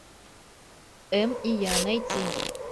эм и я найти